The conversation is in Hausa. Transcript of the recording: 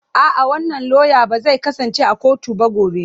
A'a, wannan lauya ba zai kasance a kotu ba gobe.